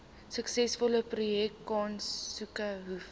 suksesvolle projekaansoeke hoef